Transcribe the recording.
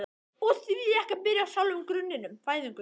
Og því ekki að byrja á sjálfum grunninum: fæðingunni?